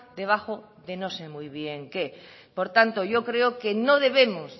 debajo de no sé muy bien qué por tanto yo creo que no debemos